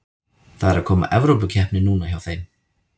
Það er að koma Evrópukeppni núna hjá þeim.